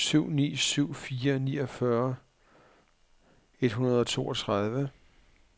syv ni syv fire niogfyrre et hundrede og toogtredive